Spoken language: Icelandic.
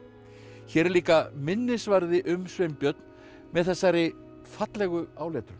hér er líka minnisvarði um Sveinbjörn með þessari fallegu áletrun